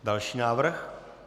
Další návrh.